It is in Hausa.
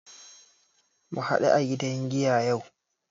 Mu haɗu a gidan giya yau